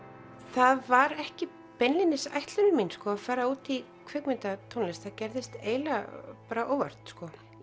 það var ekki beinlínis ætlun mín að fara út í kvikmyndatónlist það gerðist eiginlega óvart bara